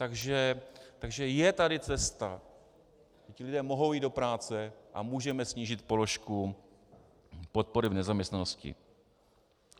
Takže je tady cesta, ti lidé mohou jít do práce a můžeme snížit položku podpory v nezaměstnanosti.